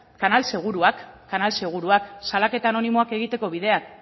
kanal seguruak kanal seguruak salaketa anonimoak egiteko bideak